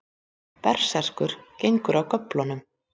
Berserkur gengur af göflunum.